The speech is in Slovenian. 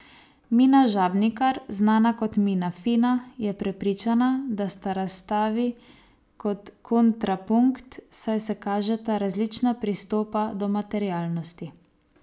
Mina Žabnikar, znana kot Mina Fina, je prepričana, da sta razstavi kot kontrapunkt, saj se kažeta različna pristopa do materialnosti.